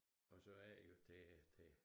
Og så er det jo det det